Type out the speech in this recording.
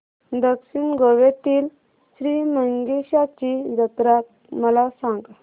दक्षिण गोव्यातील श्री मंगेशाची जत्रा मला सांग